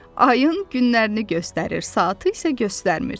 Ayın günlərini göstərir, saatı isə göstərmir.